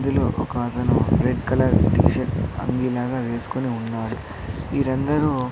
ఇందులో ఒక అతను రెడ్ కలర్ టీషర్ట్ అంగి లాగ వేస్కొని ఉన్నాడు వీరందరూ--